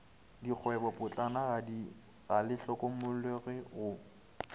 dikgwebopotlana ga le hlokomologwe go